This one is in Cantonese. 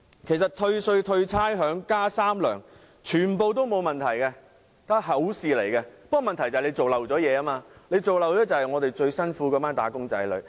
其實退稅、退差餉、加"三糧"，全部均沒有問題，問題是政府遺漏了一些工作，遺忘了那群最辛苦的"打工仔女"。